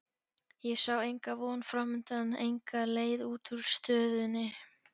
Ég sá enga von framundan, enga leið út úr stöðunni.